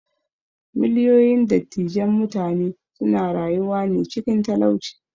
Miliyoyin dattijan mutane suna rayuwane cikin talauci.